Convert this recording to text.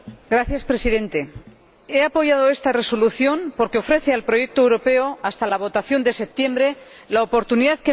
He apoyado esta Resolución porque ofrece al proyecto europeo, hasta la votación de septiembre, la oportunidad que merece y que necesitamos.